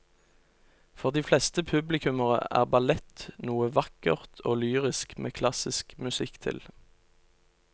For de fleste publikummere er ballett noe vakkert og lyrisk med klassisk musikk til.